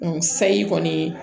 sayi kɔni